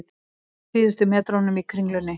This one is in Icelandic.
Á síðustu metrunum í Kringlunni